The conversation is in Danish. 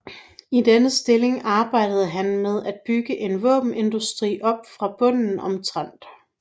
I denne stilling arbejdede han med at bygge en våbenindustri op fra bunden omtrent